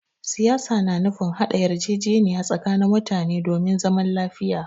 Siyasa na nufin haɗa yarjejeniya tsakanin mutane domin zaman lafiya.